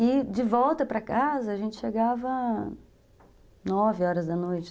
E, de volta para casa, a gente chegava nove horas da noite.